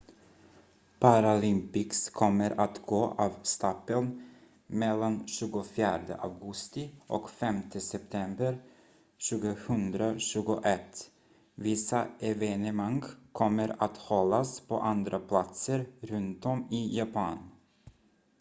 paralympics kommer att gå av stapeln mellan 24 augusti och 5 september 2021 vissa evenemang kommer att hållas på andra platser runtom i japan